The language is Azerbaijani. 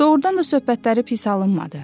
Doğrudan da söhbətləri pis alınmadı.